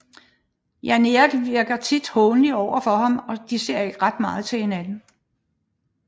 Jan Erik virker tit hånlig overfor ham og de ser ikke meget til hinanden